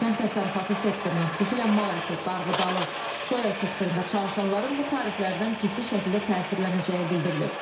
Kənd təsərrüfatı sektorunun, xüsusilə mal əti, qarğıdalı, soya sektorunda çalışanların bu tariflərdən ciddi şəkildə təsirlənəcəyi bildirilir.